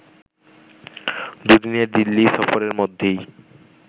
দুদিনের দিল্লি সফরের মধ্যেই